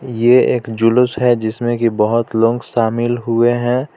ये एक जुलुस है जिसमें की बहोत लोग शामिल हुए है.